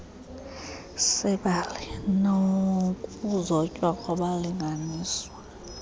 sebali nokuzotywa kwabalinganiswa